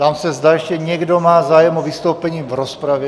Ptám se, zda ještě někdo má zájem o vystoupení v rozpravě?